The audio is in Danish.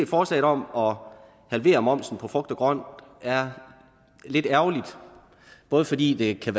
forslaget om at halvere momsen på frugt og grønt er lidt ærgerligt både fordi det kan